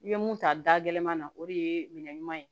I bɛ mun ta dagɛma na o de ye minɛ ɲuman ye